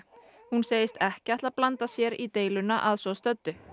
hún segist ekki ætla að blanda sér í deiluna að svo stöddu